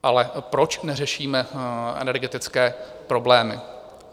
Ale proč neřešíme energetické problémy?